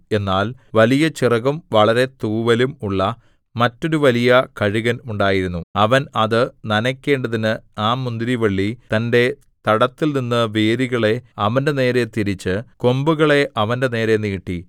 എന്നാൽ വലിയ ചിറകും വളരെ തൂവലും ഉള്ള മറ്റൊരു വലിയ കഴുകൻ ഉണ്ടായിരുന്നു അവൻ അത് നനയ്ക്കേണ്ടതിന് ആ മുന്തിരിവള്ളി തന്റെ തടത്തിൽനിന്ന് വേരുകളെ അവന്റെനേരെ തിരിച്ച് കൊമ്പുകളെ അവന്റെനേരെ നീട്ടി